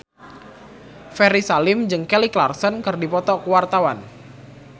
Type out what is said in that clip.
Ferry Salim jeung Kelly Clarkson keur dipoto ku wartawan